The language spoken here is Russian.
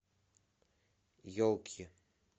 елки